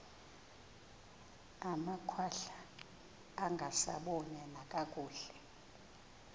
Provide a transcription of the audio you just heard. amakhwahla angasaboni nakakuhle